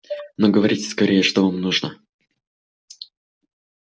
ну говорите скорее что вам нужно